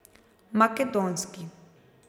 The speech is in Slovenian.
Makedonski.